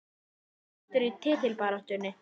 Ertu aftur í titilbaráttunni?